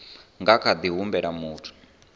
nga kha ḓi humbela muthu